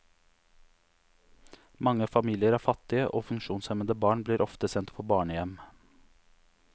Mange familier er fattige, og funksjonshemmede barn blir ofte sendt på barnehjem.